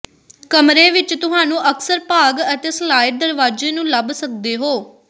ਕਮਰੇ ਵਿੱਚ ਤੁਹਾਨੂੰ ਅਕਸਰ ਭਾਗ ਅਤੇ ਸਲਾਇਡ ਦਰਵਾਜ਼ੇ ਨੂੰ ਲੱਭ ਸਕਦੇ ਹੋ